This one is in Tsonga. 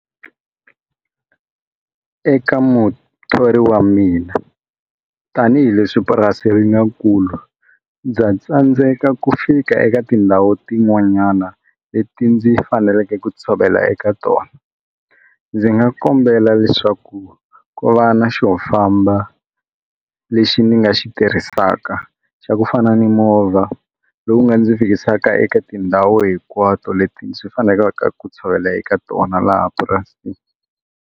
Eka muthori wa mina tanihileswi purasi ri nga kula ndza tsandzeka ku fika eka tindhawu tin'wanyana leti ndzi faneleke ku tshovela eka tona ndzi nga kombela leswaku ku va na xo famba lexi ni nga xi tirhisaka xa ku fana ni movha lowu nga ndzi fikisaka eka tindhawu hinkwato leti ndzi faneleke ku tshovela eka tona laha purasini.